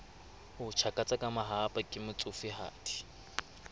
tjhakatsa ka mahahapa ke motsofehadi